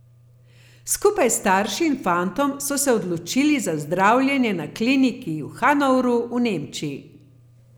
Skupaj s starši in fantom so se odločili za zdravljenje na kliniki v Hanovru v Nemčiji.